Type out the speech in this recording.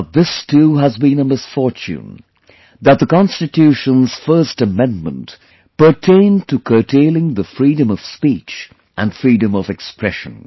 But this too has been a misfortune that the Constitution's first Amendment pertained to curtailing the Freedom of Speech and Freedom of Expression